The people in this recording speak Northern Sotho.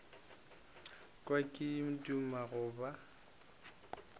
kwa ke duma go ba